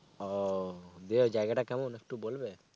ওহ, দিয়ে ওই জায়গাটা কেমন একটু বলবে?